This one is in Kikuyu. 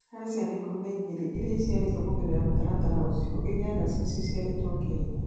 Varĩ ciana ikumi na igĩri iria ciciarĩtwo kũgerera mũtaratara ũcio, inyanya ciacio ciciarĩtwo Kenya.